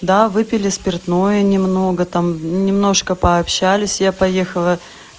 да выпили спиртное немного там немножко пообщались я поехала